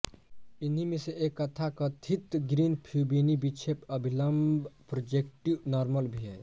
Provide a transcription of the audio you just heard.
इन्हीं में से एक यथाकथित ग्रीनफयूबिनी विक्षेप अभिलंब प्रोजेक्टिव नॉर्मल भी है